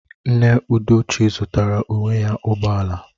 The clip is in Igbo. Nne Udochi zụtara onwe ya ụgbọ ala